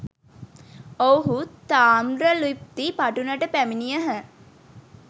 ඔව්හු තාම්‍රලිප්ති පටුනට පැමිණියහ.